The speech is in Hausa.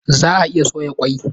Zaa iya soya kwai